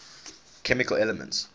chemical elements